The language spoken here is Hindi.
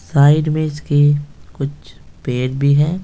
साइड में इसके कुछ पेड़ भी हैं।